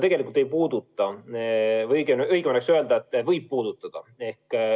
Tegelikult ei puuduta või õigem oleks öelda, et võib puudutada.